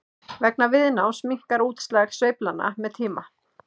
vegna viðnáms minnkar útslag sveiflnanna með tíma